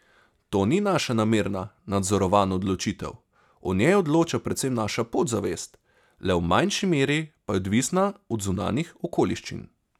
To ni naša namerna, nadzorovana odločitev, o njej odloča predvsem naša podzavest, le v manjši meri pa je odvisna od zunanjih okoliščin.